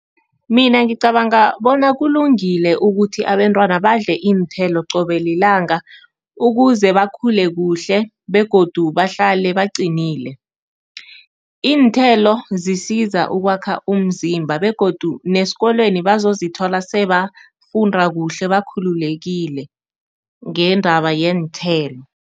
Mina ngicabanga bona kulungile ukuthi abentwana badle iinthelo qobe lilanga, ukuze bakhule kuhle begodu bahlale baqinile. Iinthelo zisiza ukwakha umzimba begodu nesikolweni bazozithola sebafunda kuhle, bakhululekile ngendaba yeenthelo